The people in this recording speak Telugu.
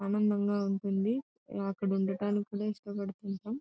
అందంగా ఉంటుంది. ఆ అక్కడ ఉండడానికి ప్లేస్ కూడా